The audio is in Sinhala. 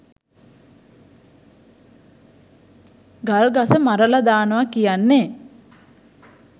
ගල් ගස මරල දානවා කියන්නේ